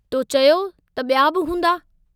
तो चयो त ॿिया बि हूंदा?